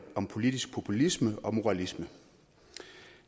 om politisk populisme og moralisme